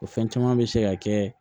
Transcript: O fɛn caman bɛ se ka kɛ